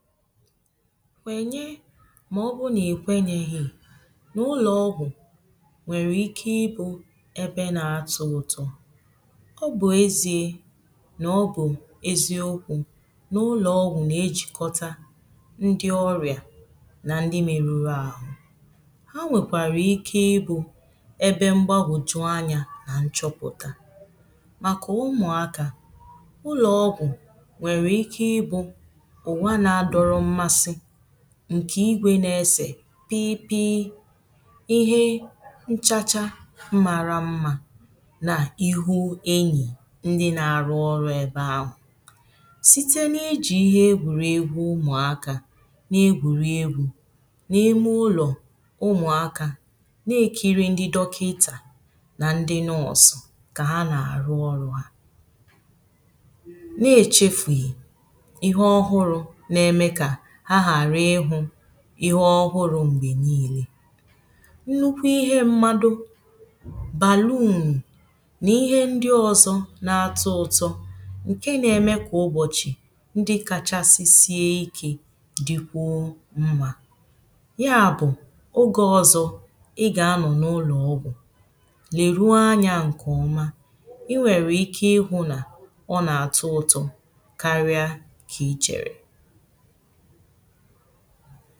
nkwenye ma ọ bụ na-ekwenyeghị n’ụlọọgwụ̀ nwere ike ibu̇ ebe na-atụtụ ọ bụ ezie na ọ bụ eziokwu̇ n’ụlọọgwụ̀ na-ejikọta ndị ọrịa na ndị meruru ahụ ha nwekwara ike ibu̇ ebe mgbagwùju anya nà nchọpụtà maka ụmụakà ụlọọgwụ̀ nwere ike ibu̇ ǹkè igwė na-esè piipi ihe nchacha mara mmȧ na ihu enyì ndi na-arụ ọrụ̇ ebe ahụ̀ site n’ijì ihe egwùrìegwu ụmụ̀akȧ na-egwùrìegwu na ime ụlọ̀ ụmụ̀akȧ na-ekiri ndi dọkịtà na ndi n’ọsụ̀ kà ha na-arụ ọrụ̇ à ihe ọhụrụ̇ m̀gbè niilė nnukwu ihe mmadụ̇ bàlunù nà ihe ndị ọzọ̇ na-atụ ụtọ̇ ǹke nȧ-ėmė kà ụbọ̀chị̀ ndị kachasị sie ikė dịkwuo mmȧ ya bụ̀ oge ọzọ̇ ịgà anọ̀ n’ụlọ̀ ọgwụ̀ lèru anya ǹkèọma i nwèrè ike ịhụ̇ nà ọ nà-atụ ụtọ̇ karịa kà ichèrè ha